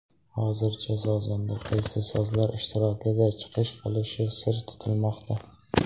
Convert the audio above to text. Hozircha sozanda qaysi sozlar ishtirokida chiqish qilishi sir tutilmoqda.